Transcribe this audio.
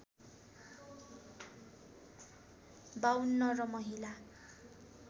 ५२ र महिला